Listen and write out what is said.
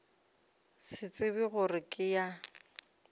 se tsebe gore ke ya